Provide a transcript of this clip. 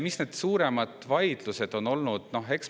Mis need suuremad vaidlused on olnud?